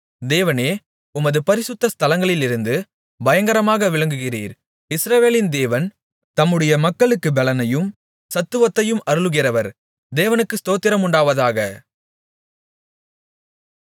தேவனே உமது பரிசுத்த ஸ்தலங்களிலிருந்து பயங்கரமாக விளங்குகிறீர் இஸ்ரவேலின் தேவன் தம்முடைய மக்களுக்குப் பெலனையும் சத்துவத்தையும் அருளுகிறவர் தேவனுக்கு ஸ்தோத்திரமுண்டாவதாக